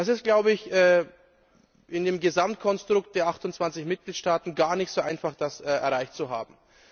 Das ist, glaube ich, in dem Gesamtkonstrukt der 28 Mitgliedstaaten gar nicht so einfach, das erreicht zu haben.